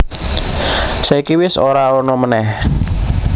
Saiki wis ora ana manèh